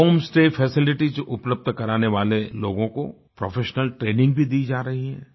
home stay facilities उपलब्ध कराने वाले लोगों को प्रोफेशनल ट्रेनिंग भी दी जा रही है